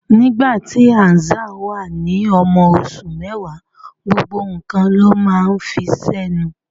Nígbà tí Hazzan wà ní ọmọ oṣù mẹ́wàá, gbogbo nǹkan ló máa ń fi sẹ́nu.